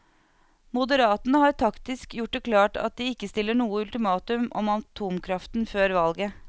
Moderatene har taktisk gjort det klart at de ikke stiller noe ultimatum om atomkraften før valget.